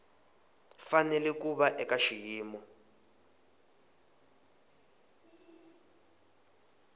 fanele ku va eka xiyimo